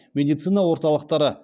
медицина орталықтары